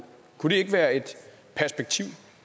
kunne det ikke